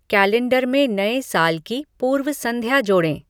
calendar में नए साल की पूर्व संध्या जोड़ें